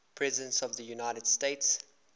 presidents of the united states